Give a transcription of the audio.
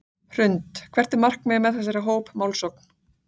Hrund: Hvert er markmiðið með þessari hópmálsókn?